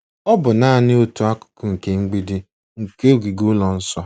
Ọ bụ naanị otu akụkụ nke mgbidi nke ogige ụlọ nsọ.